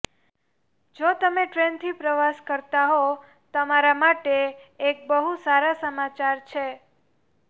જો તમે ટ્રેનથી પ્રવાસ કરતા હો તમારા માટે એક બહુ સારા સમાચાર છે